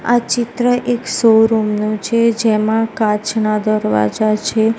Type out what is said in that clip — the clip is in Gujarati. આ ચિત્ર એક શોરૂમ નુ છે જેમાં કાચના દરવાજા છે.